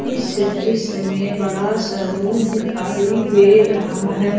इस दृश्य मे बड़ा सा रूम दिखाई दे रहा है।